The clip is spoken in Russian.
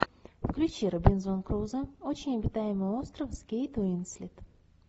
включи робинзон крузо очень обитаемый остров с кейт уинслет